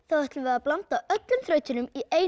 ætlum við að blanda öllum þrautunum í eina